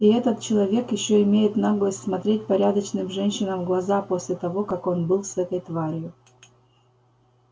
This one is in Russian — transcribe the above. и этот человек ещё имеет наглость смотреть порядочным женщинам в глаза после того как он был с этой тварью